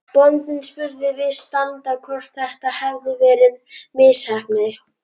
Bóndinn spurði viðstadda hvort þetta hefði verið misheppnað.